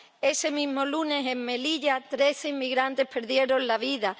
Ese mismo lunes, en Melilla, trece inmigrantes perdieron la vida.